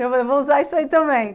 Eu falei, vou usar isso aí também.